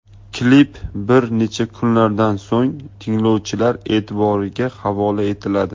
Klip bir necha kunlardan so‘ng tinglovchilar e’tiboriga havola etiladi.